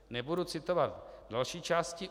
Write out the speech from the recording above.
Nebudu citovat další části.